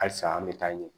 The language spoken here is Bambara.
Halisa an bɛ taa ɲɛ